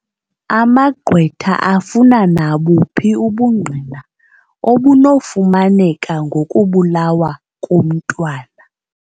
Amagqwetha afuna nabuphi ubungqina obunokufumaneka ngokubulawa komntwana.